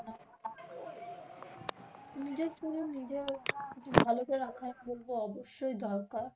নিজের ভালটা রাখা কিন্তু অবশ্যই দরকার।